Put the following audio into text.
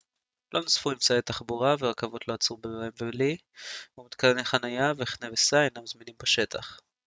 לא נוספו אמצעי תחבורה ורכבות לא יעצרו בוומבלי ומתקני חנייה וחנה וסע אינם זמינים בשטח